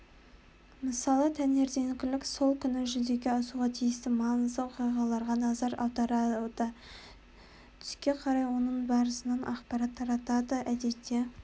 мысалы таңертеңгілік сол күні жүзеге асуға тиісті маңызды оқиғаларға назар аударады түске қарай оның барысынан ақпарат таратады әдетте